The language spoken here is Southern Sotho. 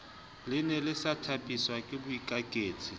lene le sa thapiswake boikaketsi